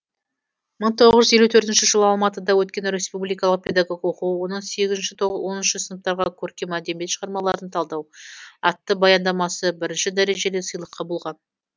мың тоғыз жүз елу төрт жылы алматыда өткен республикалық педагог оқуы оның сегіз оныншы сыныптарға көркем әдебиет шығармаларын талдау атты баяндамасы бірінші дәрежелі сыйлыққа болған